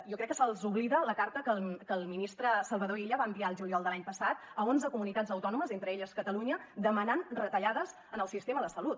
jo crec que se’ls oblida la carta que el ministre salvador illa va enviar el juliol de l’any passat a onze comunitats autònomes entre elles catalunya per demanar retallades en el sistema de salut